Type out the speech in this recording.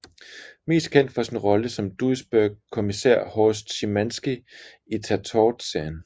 Mest kendt for sin rolle som Duisburg kommisær Horst Schimanski i Tatort serien